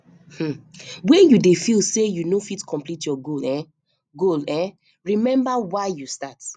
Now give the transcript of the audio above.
um wen you dey feel say you no fit complete your goal um goal um remember why you start